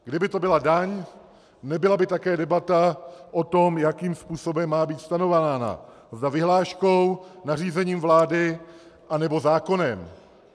Kdyby to byla daň, nebyla by také debata o tom, jakým způsobem má být stanovována, zda vyhláškou, nařízením vlády, anebo zákonem.